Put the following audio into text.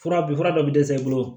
Fura bi fura dɔ bi dɛsɛ i bolo